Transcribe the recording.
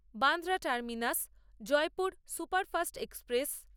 Bandra terminus Jaipur superfast express